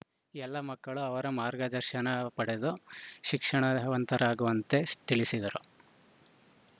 ಎಲ್ಲ ಮಕ್ಕಳು ಅವರ ಮಾರ್ಗದರ್ಶನ ಪಡೆದು ಶಿಕ್ಷಣವಂತರಾಗುವಂತೆ ತಿಳಿಸಿದರು